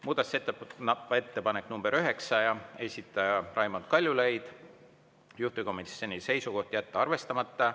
Muudatusettepanek nr 9, esitaja Raimond Kaljulaid, juhtivkomisjoni seisukoht: jätta arvestamata.